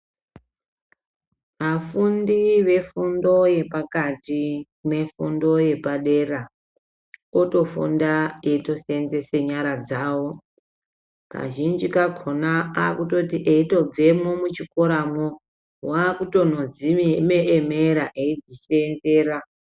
Afundi vefundoyepakati nefundo yepadera otofunda eitoseenzese nyara dzawo kazhinji kakona akutoti etobvemwo muchikoramwo wakutonodziemera etisendera.